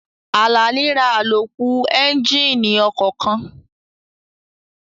Àlàní ra àlòkù éúnjínì ọkọ̀ kan